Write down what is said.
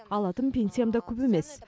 алатын пенсиям да көп емес